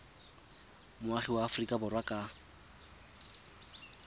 moagi wa aforika borwa ka